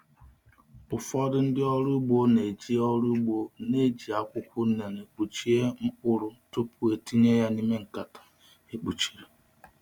Ụfọdụ ndị ọrụ ugbo na-eji ọrụ ugbo na-eji akwụkwọ unere kpuchie mkpụrụ tupu etinye ya n’ime nkata e kpuchiri.